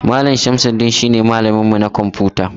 Mallam shamsudeen shi ne malamin mu na kwamfuta.